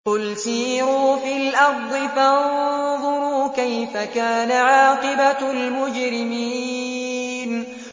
قُلْ سِيرُوا فِي الْأَرْضِ فَانظُرُوا كَيْفَ كَانَ عَاقِبَةُ الْمُجْرِمِينَ